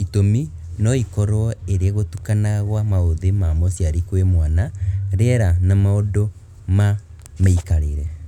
Itumi noikorwo ĩrĩ gũtukana gwa maũthĩ ma mũciari kwĩ mwana, riera na maũndũ ma mĩikarĩre